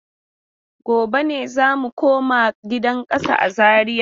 Gobe ne za mu koma gidan kasa a Zariya.